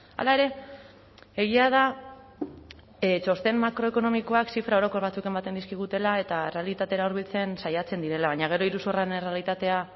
hala ere egia da txosten makroekonomikoak zifra orokor batzuk ematen dizkigutela eta errealitatera hurbiltzen saiatzen direla baina gero iruzurraren errealitatea